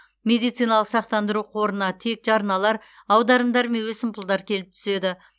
медициналық сақтандыру қорына тек жарналар аударымдар мен өсімпұлдар келіп түседі